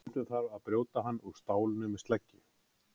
Stundum þarf að brjóta hann úr stálinu með sleggju.